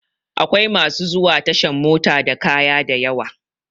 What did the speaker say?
Akwai masu zuwa tashan mota da kaya dayawa